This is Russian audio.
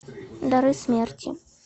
дары смерти